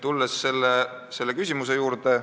Tulen nüüd küsimuse juurde.